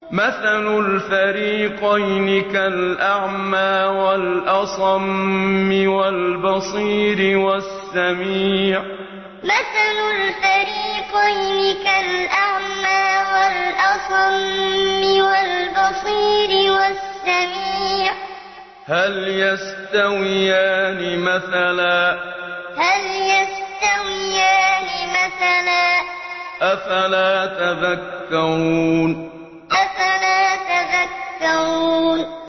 ۞ مَثَلُ الْفَرِيقَيْنِ كَالْأَعْمَىٰ وَالْأَصَمِّ وَالْبَصِيرِ وَالسَّمِيعِ ۚ هَلْ يَسْتَوِيَانِ مَثَلًا ۚ أَفَلَا تَذَكَّرُونَ ۞ مَثَلُ الْفَرِيقَيْنِ كَالْأَعْمَىٰ وَالْأَصَمِّ وَالْبَصِيرِ وَالسَّمِيعِ ۚ هَلْ يَسْتَوِيَانِ مَثَلًا ۚ أَفَلَا تَذَكَّرُونَ